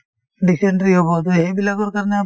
dysentery হব তে সেইবিলাকৰ কাৰণে